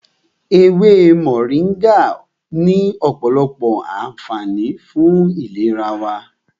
Ewé Mọ̀ríngà ní ọ̀pọ̀lọpọ̀ ànfààní fún ìlera wa.